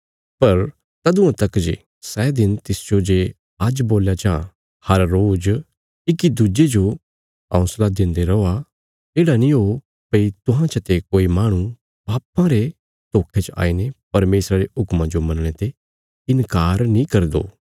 पर तदुआं तक जे सै दिन तिसजो जे आज्ज बोल्या जां हर रोज इक्की दुज्जे जो हौंसला देन्दे रौआ येढ़ा नीं हो भई तुहां चते कोई माहणु पापां रे धोखे च आईने परमेशरा रे हुक्मां जो मनणे ते इन्कार नीं करी दो